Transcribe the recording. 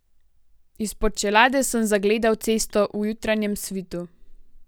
Izpod čelade sem zagledal cesto v jutranjem svitu.